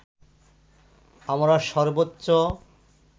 আমরা সর্বোচ্চ